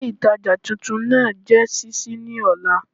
Ilé ìtajà titun náà á jé sísí ní òla